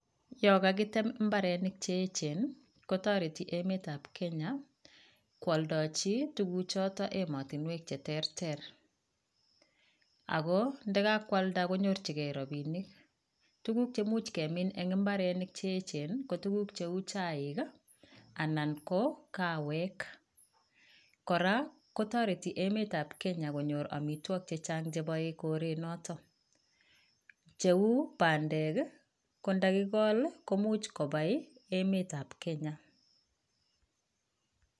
Yon kakitem imbarenik cheyeche nii kotoreti emet ab kenya kwoldewji tukuk choton emotinwek cheterter, ako inda kakwalda konyorchi gee robinik. Tukuk che imuch kemin en imbarenik che yechen ko tukuk chuu chaik kii anan ko kawek, koraa kotoreti emet ab kenya konyor omitwokik chechang cheboe korenoton cheu pandek kii ko ndo kokol koimuch kobai emet ab kenya.